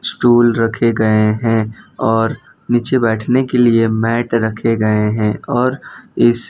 stool रखे गए हैं और नीचे बैठने के लिए मैट रखे गए हैं और इस--